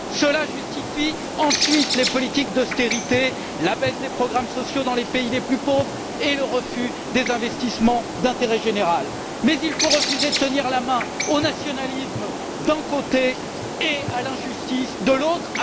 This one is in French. Cela justifie ensuite les politiques d'austérité, la baisse des programmes sociaux dans les pays les plus pauvres et le refus des investissements d'intérêt général. Mais il faut refuser de tenir la main au nationalisme d'un côté et à l'injustice de l'autre.